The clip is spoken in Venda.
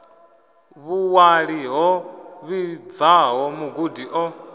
vhuṅwali ho vhibvaho mugudi o